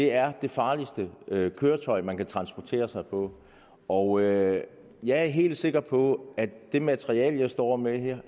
er det farligste køretøj man kan transportere sig på og jeg jeg er helt sikker på at det materiale jeg står med her